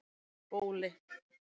Bóli